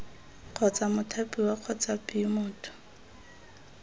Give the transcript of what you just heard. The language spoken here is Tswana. kgotsa mothapiwa kgotsa b motho